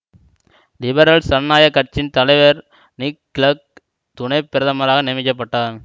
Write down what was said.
liberal சனநாயக கட்சியின் தலைவர் நிக் கிளெக் துணை பிரதமராக நியமிக்க பட்டார்